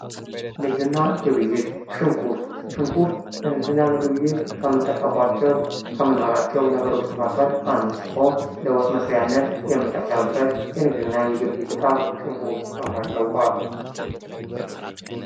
ንግድና ግብይይት፤ ሽንኩርት፦ ሽንኩርት ለንግድና ለግብይይት ከምንጠቀምባቸው ከምናውላቸው ነገሮች መካከል አንዱ ሲሆን ለወጥ መስሪያነት የምንጠቀምበት የንግድና ለግብይይት እቃ ሽንኩርት በመባል ይታወቃል።